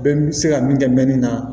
Bɛɛ n bɛ se ka min kɛ mɛ nin na